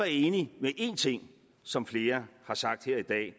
enig i en ting som flere har sagt her i dag at